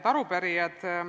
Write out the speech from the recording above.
Head arupärijad!